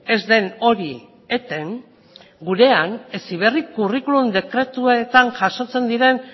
ez den hori eten gurean heziberri curriculum dekretuetan jasotzen diren